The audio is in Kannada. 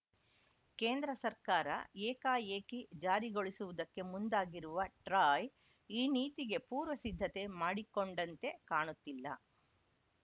ಕೇಂದ್ರ ಸರ್ಕಾರ ಏಕಾಏಕಿ ಜಾರಿಗೊಳಿಸುವುದಕ್ಕೆ ಮುಂದಾಗಿರುವ ಟ್ರಾಯ್‌ ಈ ನೀತಿಗೆ ಪೂರ್ವ ಸಿದ್ಧತೆ ಮಾಡಿಕೊಂಡಂತೆ ಕಾಣುತ್ತಿಲ್ಲ